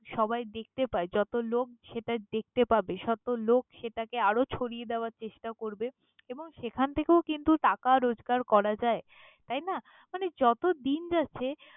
সবাই দেখতে পায়। যত লোক সেটা দেখতে পাবে, তত লোক সেটাকে আরও ছড়িয়ে দেওয়ার চেষ্টা করবে এবং সেখান থেকেও কিন্তু টাকা রোজগার করা যায়। তাই না, মানে যতদিন যাচ্ছে।